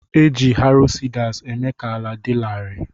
Eji "harrow" seeders eme ka ala di lari.